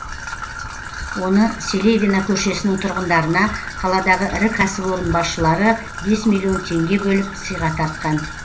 оны селевина көшесінің тұрғындарына қаладағы ірі кәсіпорын басшылары бес миллион теңге бөліп сыйға тартқан